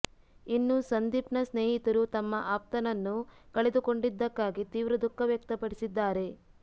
ಇನ್ನು ಸಂದೀಪ್ನ ಸ್ನೇಹಿತರು ತಮ್ಮ ಆಪ್ತನನ್ನು ಕಳೆದುಕೊಂಡಿದ್ದಕ್ಕಾಗಿ ತೀವ್ರ ದುಃಖ ವ್ಯಕ್ತಪಡಿಸಿದ್ದಾರೆ